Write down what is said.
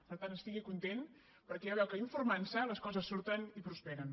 per tant estigui content perquè ja veu que informant se les coses surten i prosperen